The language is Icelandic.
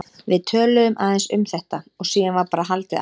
Við töluðum aðeins um þetta og síðan var bara haldið áfram.